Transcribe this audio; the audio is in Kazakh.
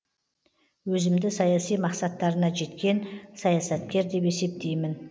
өзімді саяси мақсаттарына жеткен саясаткер деп есептеймін